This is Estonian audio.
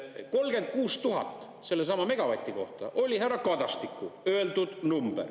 36 000 sellesama megavati kohta oli härra Kadastiku öeldud number.